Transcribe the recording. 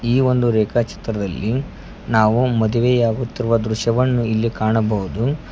ಈ ಒಂದು ರೇಖಾ ಚಿತ್ರದಲ್ಲಿ ನಾವು ಮದುವೆಯಾಗುತ್ತಿರುವ ದೃಶ್ಯವನ್ನು ಇಲ್ಲಿ ಕಾಣಬಹುದು.